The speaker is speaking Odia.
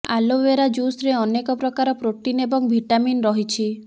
ଆଲୋବେରା ଜୁସ୍ରେ ଅନେକ ପ୍ରକାର ପ୍ରୋଟିନ୍ ଏବଂ ଭିଟାମିନ୍ ରହିଛି